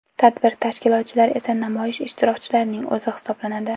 Tadbir tashkilotchilar esa namoyish ishtirokchilarining o‘zi hisoblanadi.